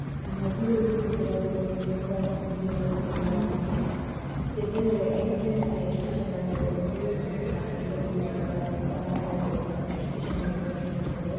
ಮದುವೆಗೆ ಸಿದ್ದವಾಗಿರೋ ನಿಂತಿರೋ ಒಂದು ಕಲ್ಯಾಣ ಮಂಟಪ ಎದುರ್ಗಡೆ ಎಂಟ್ರಿನ್ಸ್ ಗೆ ಅವರು ಹೂ ಮತ್ತೆ ಇದರನಿಂದ ಎಲ್ಲಾ ತೆರ್ಮಕಲ್ಸ್ ನಿಂದ ಎಷ್ಟು ಚೆನ್ನಾಗಿ ಡೆಕೋರೇಷನ್ ಮಾಡಿದ್ದಾರೆ